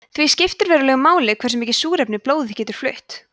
því skiptir verulegu máli hversu mikið súrefni blóðið getur flutt